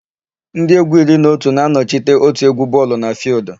Ndị égwú iri na otu na-anọchite òtù égwú bọọlụ na fịịldụ.